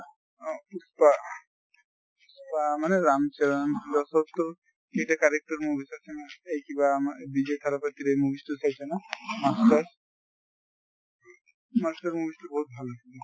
অহ পুস্পা মানে ৰাম চৰণ সেইটো কাৰেকতৰ movies আছে না এই কিবা আমাৰ বিজয় ঠালাপতিৰ এই movies তো চাইছা না master | master movies তো বহুত ভাল।